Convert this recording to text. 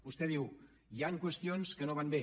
vostè diu hi han qüestions que no van bé